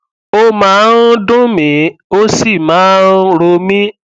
ó máa ń dùn mií ó sì máa ń ro mí